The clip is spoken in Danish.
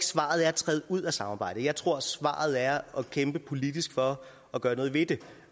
svaret er at træde ud af samarbejdet jeg tror at svaret er at kæmpe politisk for at gøre noget ved det